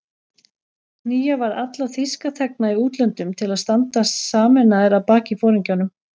Knýja varð alla þýska þegna í útlöndum til að standa sameinaðir að baki foringjanum